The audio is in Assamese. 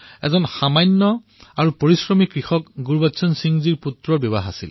এক সামান্য আৰু পৰিশ্ৰমী কৃষক গুৰবচন সিংজীৰ পুত্ৰৰ বিবাহ অনুষ্ঠান আছিল